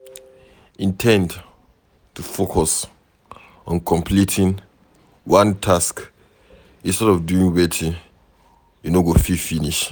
Indend to focus on completing one task instead of doing wetin you no go fit finish